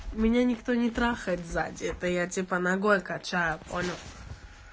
меня никто не трахает сзади это я типо ногой качаю понял